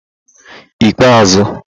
igbeazu